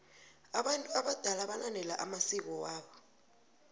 abantu abadala balandela amsiko wabo